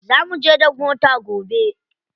Za muje da mota gobe.